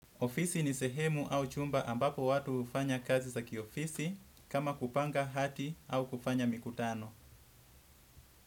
Ofisi ni sehemu au chumba ambapo watu hufanya kazi za kiofisi kama kupanga hadhi au kufanya mikutano.